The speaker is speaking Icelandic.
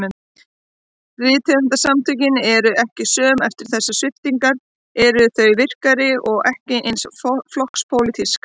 Rithöfundasamtökin eru ekki söm eftir þessar sviptingar, þau eru virkari- og ekki eins flokkspólitísk.